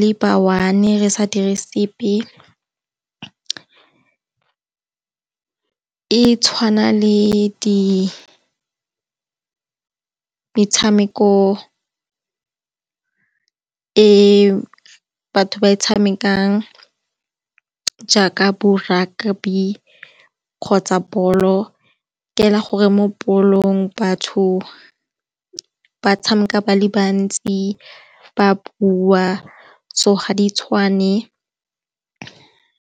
le ba one-e re sa dire sepe. E tshwana le metshameko e batho ba e tshamekang jaaka bo rugby kgotsa bolo, ke fela gore mo bolong batho ba tshameka ba le bantsi ba bua, so ga di tshwane.